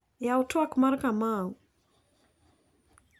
Yaw tuak mar Kamau.